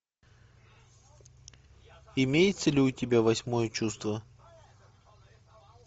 имеется ли у тебя восьмое чувство